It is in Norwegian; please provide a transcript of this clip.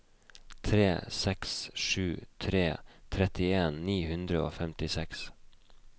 tre seks sju tre trettien ni hundre og femtiseks